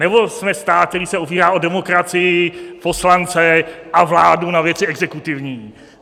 Nebo jsme stát, který se opírá o demokracii, poslance a vládu na věci exekutivní?